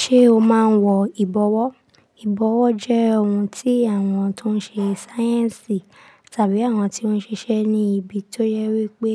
Ṣé o máa ń wọ ìbọwọ́? Ìbọwọ́ jẹ́ ohun tí àwọn tó ń ṣe sáyẹ́ǹsì tàbí àwọn tí ó ń ṣiṣẹ́ ní ibi tó jẹ wí pé